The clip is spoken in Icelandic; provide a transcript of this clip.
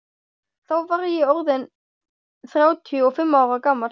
Þá var ég orð inn þrjátíu og fimm ára gamall.